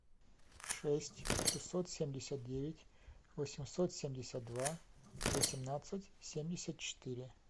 шесть шестьсот семьдесят девять восемьсот семьдесят два восемнадцать семьдесят четыре